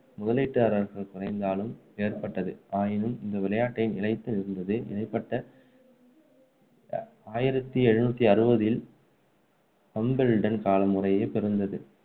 முதலீட்டுதாரர்கள் குறைந்ததாலும் ஏற்பட்டது. ஆயினும் இந்த விளையாட்டு நிலைத்து இருந்தது இடைப்பட்ட ஆயிரத்து எழுநூற்று அறுபதில் ஹாம்பெல்டன் காலம் முறையே பிறந்தது.